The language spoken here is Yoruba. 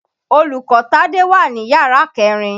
Olùkọ́ Tádé wà ní yàrá kẹ̀rin.